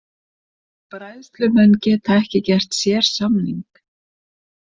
Bræðslumenn geta ekki gert sérsamning